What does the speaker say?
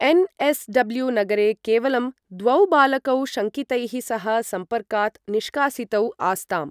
NSW नगरे केवलं द्वौ बालकौ शङ्कितैः सह सम्पर्कात् निष्कासितौ आस्ताम् ।